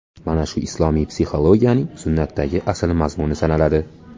Mana shu islomiy psixologiyaning sunnatdagi asl mazmuni sanaladi.